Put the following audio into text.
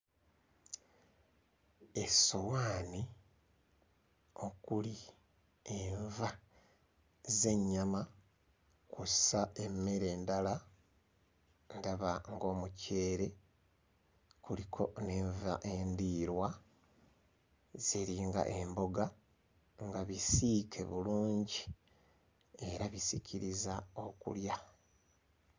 Essowaani okuli enva z'ennyama kw'ossa emmere endala ndaba ng'omuceere kuliko n'enva endiirwa ziringa emboga nga bisiike bulungi era bisikiriza okulya.